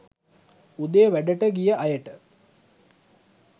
උදේ වැඩට ගිය අයට